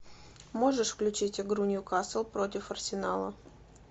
можешь включить игру ньюкасл против арсенала